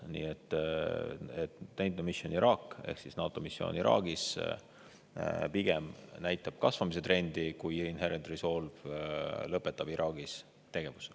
NATO Mission Iraq ehk NATO missioon Iraagis pigem näitab kasvamise trendi, kui Inherent Resolve lõpetab Iraagis tegevuse.